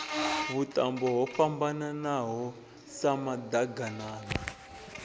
vhuṱambo ho fhambananaho sa maḓaganana